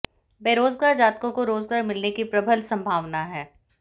बेरोजगार जातकों को रोजगार मिलने की प्रबल संभावना है